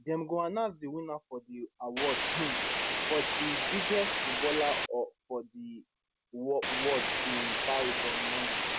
dem go announce di winner of di award um for di biggest footballer for di world in paris on monday